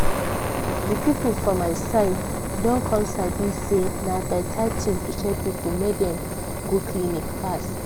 di people for my side don come sabi say na beta thing to tell people make dem go clinic fast.